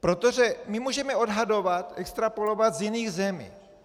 Protože my můžeme odhadovat, extrapolovat, z jiných zemí.